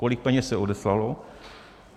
Kolik peněz se odeslalo?